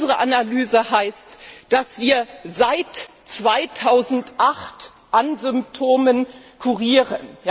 Unsere Analyse lautet, dass wir seit 2008 an Symptomen kurieren.